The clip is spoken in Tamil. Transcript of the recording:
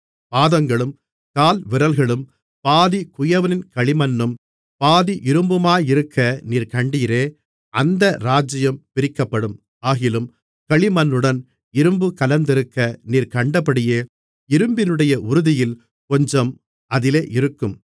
பாதங்களும் கால்விரல்களும் பாதி குயவனின் களிமண்ணும் பாதி இரும்புமாயிருக்க நீர் கண்டீரே அந்த ராஜ்ஜியம் பிரிக்கப்படும் ஆகிலும் களிமண்ணுடன் இரும்பு கலந்திருக்க நீர் கண்டபடியே இரும்பினுடைய உறுதியில் கொஞ்சம் அதிலே இருக்கும்